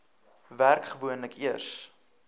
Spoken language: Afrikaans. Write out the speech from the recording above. werk gewoonlik eers